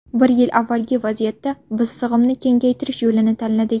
Bir yil avvalgi vaziyatda biz sig‘imni kengaytirish yo‘lini tanladik.